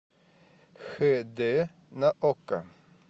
хд на окко